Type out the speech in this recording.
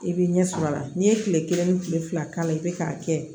I bɛ ɲɛ sɔrɔ a la n'i ye kile kelen ni kile fila k'a la i bɛ k'a kɛ